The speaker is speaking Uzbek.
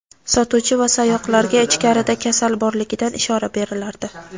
sotuvchi va sayoqlarga ichkarida kasal borligidan ishora berilardi.